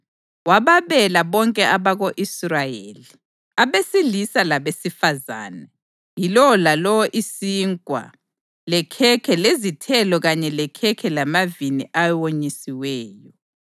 Wababela bonke abako-Israyeli, abesilisa labesifazane, yilowo lalowo isinkwa, lekhekhe lezithelo kanye lekhekhe lamavini awonyisiweyo.